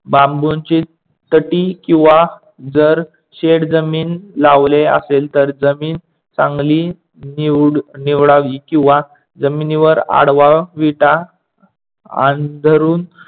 बांबुंचे तटी किंंंव जर शेड जमीन लावले असेल तर जमीन चांगली निवडावी किंवा जमिनीवर आडवा वीटा अंथरून